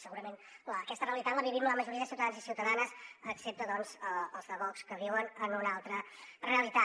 segurament aquesta realitat la vivim la majoria de ciutadans i ciutadanes excepte els de vox que viuen en una altra realitat